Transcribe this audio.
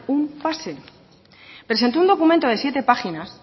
un pase presentó un documento de siete páginas